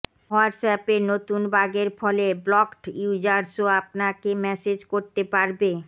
হোয়াটসঅ্যাপের নতুন বাগের ফলে ব্লকড ইউজার্সও আপনাকে মেসেজ করতে পারবে